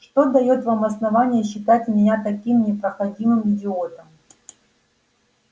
что даёт вам основание считать меня таким непроходимым идиотом